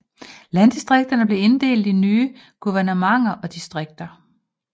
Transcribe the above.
Landdistrikterne blev inddelt i nye guvernementer og distrikter